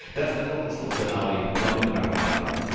Tästä tunnustuksena oli Nobelin rauhanpalkinto.